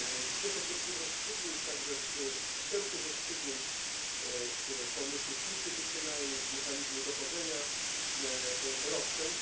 Cieszę się z tych rozstrzygnięć, także z tych wstępnych rozstrzygnięć, z pomysłów instytucjonalnych, z mechanizmu dochodzenia roszczeń.